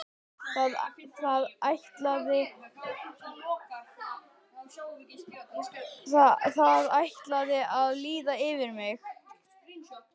Það ætlaði að líða yfir mig.